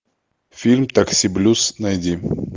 фильм такси блюз найди